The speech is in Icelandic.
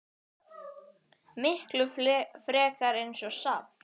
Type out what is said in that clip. Miklu frekar eins og safn.